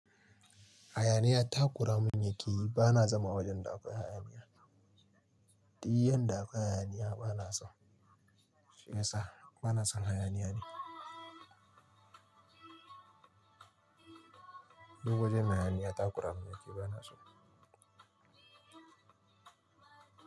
Hayaniya takuramun yakeyi, ba na zama wajen da akwai hayaniya. Diyan da akwai hayaniya ba na so, shi yasa ba na son hayaniya ne. Duk wajen da hayaniya takura mun yaki ba na so.